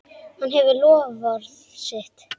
Hann efnir loforð sitt.